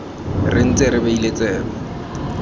re ntse re beile tsebe